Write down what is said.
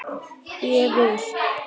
Ég vil!